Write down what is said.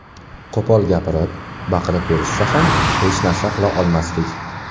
Qo‘pol gapirib, baqirib berishsa ham hech narsa qila olmasdik.